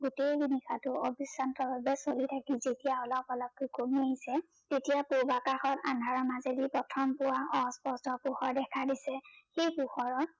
গোটেই নিশাটো অবিশ্ৰান্ত ভাবে চলি থাকিল। যেতিয়া অলপ অলপকে কমি আহিছে তেতিয়া পূৰ্বাকাশত আন্ধাৰৰ মাজেদি প্ৰথম পোৱা পোহৰ দেখা দিছে। সেই পোহৰত